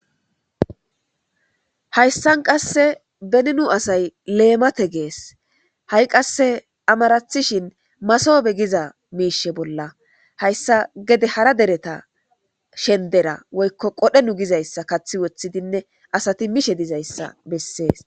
hayssan qasse bennu asay leemate gees ha7i qasse amarathishin masoobe giza miishe bolla hayssa gede hara dereta shendera woykko qodhenu gizayssa kathi woththidinne asati mishe dizayssa bessees